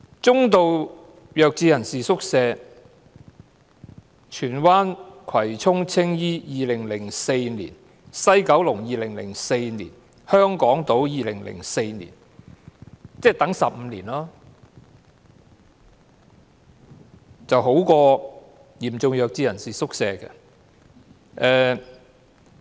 中度弱智人士宿舍方面，荃灣、葵涌、青衣、西九龍、香港島正處理2004年的申請，即是申請者要等候15年，較輪候嚴重弱智人士宿舍的情況為佳。